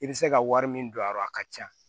I bɛ se ka wari min don a la a ka ca